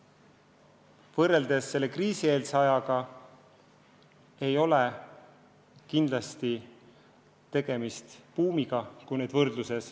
Kui võrrelda kriisieelse ajaga, siis on selge, et kindlasti ei ole tegemist buumiga.